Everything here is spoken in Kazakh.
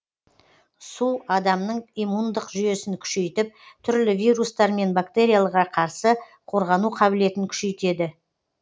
су адамның иммундық жүйесін күшейтіп түрлі вирустар мен бактерияларға қарсы қорғану қабілетін күшейтеді